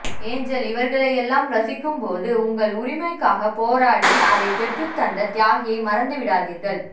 angel இவங்களையெல்லாம் ரசிக்கும் பொழுது உங்கள் உரிமைக்காக போராடி அதை பெற்றுத் தந்த தியாகியை மறந்து விடாதீர்கள்